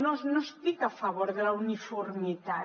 no estic a favor de la uniformitat